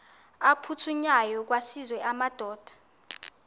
aphuthunywayo kwaziswe amadoda